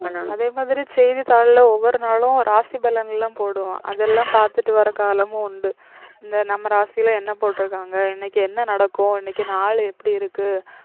அதே மாதிரி செய்திதாள்ல ஒவ்வொரு நாளும் ராசி பலன்லாம் போடுவான் அதெல்லாம் பாத்துட்டு வர காலமும் உண்டு இந்த நம்ம ராசில என்ன போட்டிருக்காங்க இன்னைக்கு என்ன நடக்கும் இன்னைக்கு நாளு எப்படி இருக்கு